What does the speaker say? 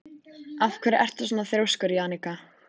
Af hverju ertu svona þrjóskur, Jannika?